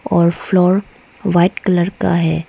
और floor white colour का है।